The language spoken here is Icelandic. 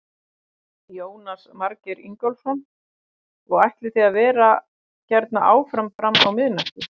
Jónas Margeir Ingólfsson: Og ætlið þið að vera hérna áfram fram á miðnætti?